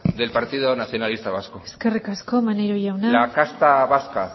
del partido nacionalista vasco eskerrik asko maneiro jauna la casta vasca